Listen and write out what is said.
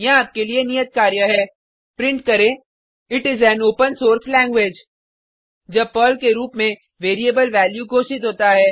यहाँ आपके लिए नियत कार्य है प्रिंट करें it is an open source language जब पर्ल के रूप में वेरिएबल वैल्यू घोषित होता है